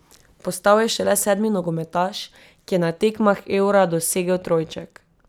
Postal je šele sedmi nogometaš, ki je na tekmah Eura dosegel trojček.